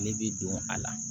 Ne bi don a la